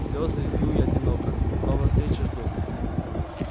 слезы лью я одиноко новой встречи жду